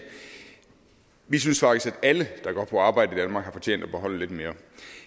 vi synes faktisk at alle der går på arbejde i danmark har fortjent at beholde lidt mere